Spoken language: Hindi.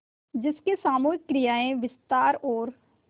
जिसकी सामूहिक क्रियाएँ विस्तार और